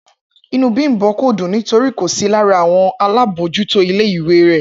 Inú Bímbò kò dùn nítorí kò sí lára àwon alábójútó ilé ìwé re